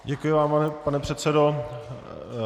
Děkuji vám, pane předsedo.